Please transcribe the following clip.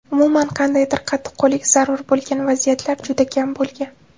Umuman, qandaydir qattiqqo‘llik zarur bo‘lgan vaziyatlar juda kam bo‘lgan.